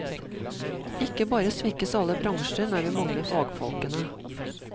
Ikke bare svekkes alle bransjer når vi mangler fagfolkene.